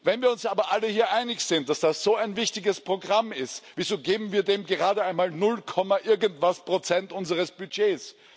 Wenn wir uns aber alle hier einig sind, dass das so ein wichtiges Programm ist, wieso geben wir dem gerade einmal null Komma irgendwas Prozent unseres Budgets?